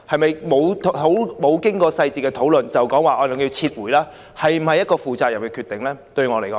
未經詳細討論便要求撤回計劃，是否一個負責任的決定？